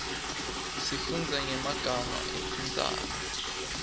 sifundza nyemaga etintsaba